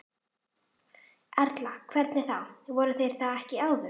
Erla: Hvernig þá, voru þeir það ekki áður?